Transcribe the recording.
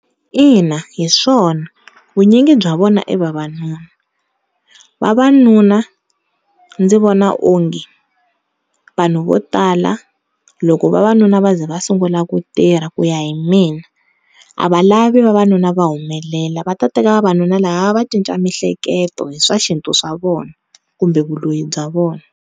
Ina, hiswona vunyingi bya vona i vavanuna, vavanuna ndzi vona onge vanhu vo tala loko vavanuna va za va sungula ku tirha ku ya hi mina a va lavi vavanuna va humelela va ta teka vavanuna lava va va cinca miehleketo hi swa xintu xa vona kumbe vuloyi bya vona.